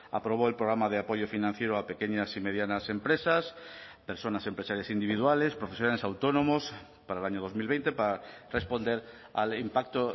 aprobó el programa de apoyo financiero a pequeñas y medianas empresas personas empresarias individuales profesionales autónomos para el año dos mil veinte para responder al impacto